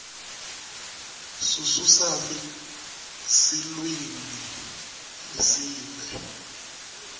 sususafi silulwimi lweesive